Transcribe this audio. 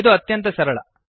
ಇದು ಅತ್ಯಂತ ಸರಳ